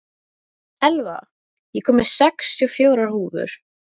Elva, ég kom með sextíu og fjórar húfur!